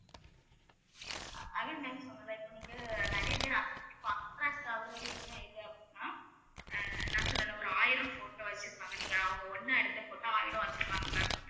இப்ப நீங்க நிறைய பேர் அதை பத்தி attract ஆகறது என்ன இது அப்படின்னா ஆஹ் நான் சொன்னேன்ல ஒரு ஆயிரம் photo வச்சிருப்பாங்க நீங்க அவங்க ஒண்ணா எடுத்து photo ஆயிரம் வச்சிருப்பாங்க ma'am